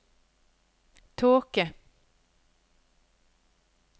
tåke